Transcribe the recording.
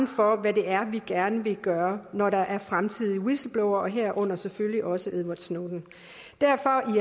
for hvad det er vi gerne vil gøre når der i fremtiden er whistleblowere herunder selvfølgelig også edward snowden derfor